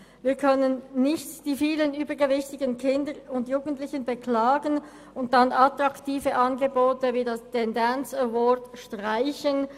Wir können nicht die vielen übergewichtigen Kinder und Jugendlichen beklagen und dann attraktive Angebote wie den School Dance Award streichen.